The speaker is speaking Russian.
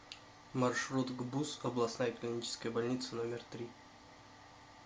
маршрут гбуз областная клиническая больница номер три